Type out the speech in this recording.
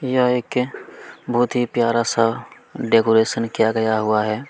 यह एक बहुत ही प्यारा सा डेकोरेशन किया गया हुआ है।